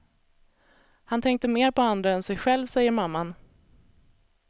Han tänkte mer på andra än sig själv, säger mamman.